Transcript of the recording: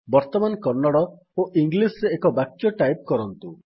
ବର୍ତ୍ତମାନ କନ୍ନଡ଼ ଓ ଇଂଲିସ୍ ରେ ଏକ ବାକ୍ୟ ଟାଇପ୍ କରନ୍ତୁ